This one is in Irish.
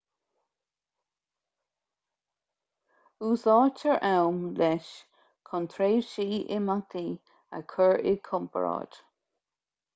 úsáidtear am leis chun tréimhsí imeachtaí a chur i gcomparáid